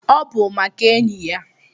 Obu maka enyi ya